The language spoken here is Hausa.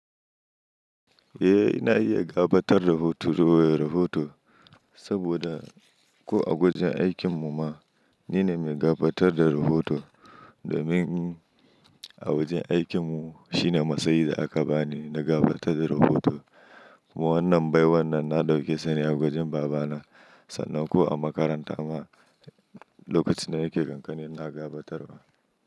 Eh, ina iya gabatar da rahoto, rufe rahoto saboda ko a wajen aikin mu ma, ni ne mai gabatar da rahoto domin a wajen aikin mu shine matsayi da aka bani na gabatar da rahoto. Kuma wannan baiwar nan na ɗauke sani a wajen babana sannan ko a makaranta ma lokacin da nake kankani na gabatarwa.